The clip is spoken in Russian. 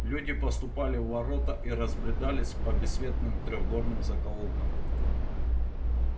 люди поступали в ворота и разбредались по бессветным трёхгорным закоулкам